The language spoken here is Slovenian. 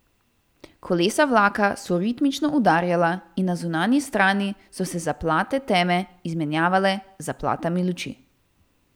Kolesa vlaka so ritmično udarjala in na zunanji strani so se zaplate teme izmenjavale z zaplatami luči.